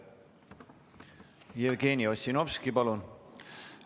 Jevgeni Ossinovski, palun!